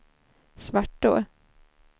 Svartå